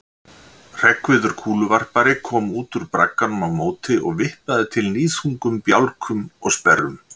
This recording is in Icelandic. Hreggviður kúluvarpari kom út úr bragganum á móti og vippaði til níðþungum bjálkum og sperrum.